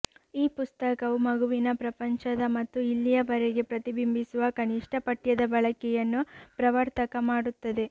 ಈ ಪುಸ್ತಕವು ಮಗುವಿನ ಪ್ರಪಂಚದ ಮತ್ತು ಇಲ್ಲಿಯವರೆಗೆ ಪ್ರತಿಬಿಂಬಿಸುವ ಕನಿಷ್ಟ ಪಠ್ಯದ ಬಳಕೆಯನ್ನು ಪ್ರವರ್ತಕ ಮಾಡುತ್ತದೆ